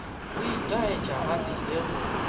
go itaetša ba tlile go